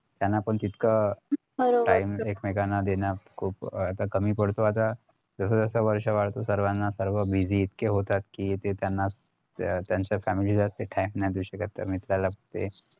त्यांना पण तितकं time एकमेकांना देण्यास खूप आता कमी पडतो आता जसं जसं वर्ष वाढत सर्वाना सर्व busy इतके होतात कि त्यांनाच त्यांच्या family ते time नाही देऊ शकत तर मित्राला कुठे